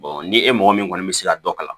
ni e mɔgɔ min kɔni bɛ se ka dɔ kalan